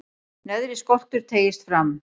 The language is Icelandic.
neðri skoltur teygist fram